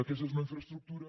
aquesta és una infraestructura